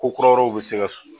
Ko kuraw bi se ka